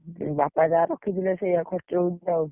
ବାପା ଯାହା ରଖିଥିଲେ ସେୟା ଖର୍ଚ ହଉଛି ଆଉ,